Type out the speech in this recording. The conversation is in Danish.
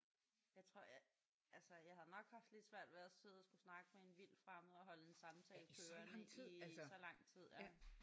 Jeg tror jeg altså jeg havde nok haft lidt svært ved at sidde og skulle snakke med en vildt fremmed og holde en samtale kørende i så lang tid ja